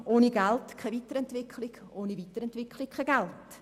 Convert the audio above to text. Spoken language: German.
ohne Geld keine Weiterentwicklung, ohne Weiterentwicklung kein Geld.